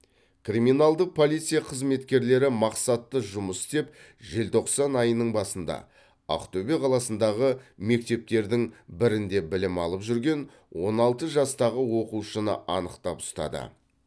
криминалдық полиция қызметкерлері мақсатты жұмыс істеп желтоқсан айының басында ақтөбе қаласындағы мектептердің бірінде білім алып жүрген он алты жастағы оқушыны анықтап ұстады